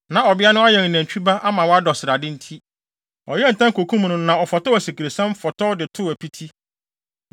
Na ɔbea no ayɛn nantwi ba ama wadɔ srade nti, ɔyɛɛ ntɛm kokum no, na ɔfɔw asikresiam, fɔtɔw de too apiti.